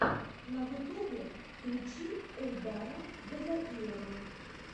на ютубе включи эльдара гузаирова